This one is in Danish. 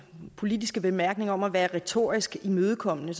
politiske bemærkning om at være retorisk imødekommende